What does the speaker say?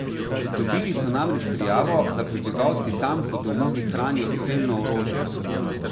Dobili so namreč prijavo, da prebivalci tam po domovih hranijo strelno orožje.